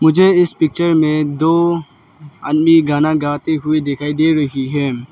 मुझे इस पिक्चर में दो आदमी गाना गाते हुए दिखाई दे रही है।